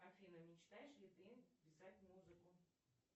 афина мечтаешь ли ты писать музыку